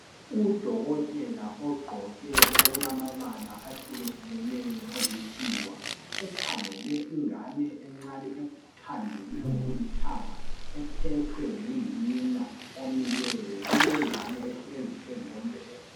Udokotela ogqoke okulamabala ahlukehlukeneyo olikhiwa ukhangele ingane encane ethandelwe ngokulithanga ephethwe ngunina omileyo. Kulengane phezu kombheda.